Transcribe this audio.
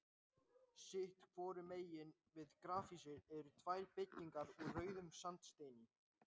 Sitt hvoru megin við grafhýsið eru tvær byggingar úr rauðum sandsteini.